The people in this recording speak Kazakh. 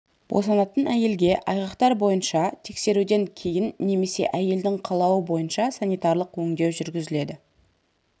босанатын әйелге айғақтар бойынша тексеруден кейін немесе әйелдің қалауы бойынша санитариялық өңдеу жүргізіледі